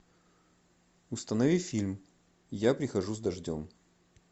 установи фильм я прихожу с дождем